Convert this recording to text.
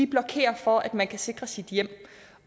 blokerer for at man kan sikre sit hjem